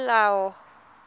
peomolao